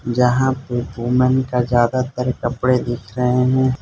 जहां पे वूमेन का ज्यादातर कपड़े दिख रहे हैं।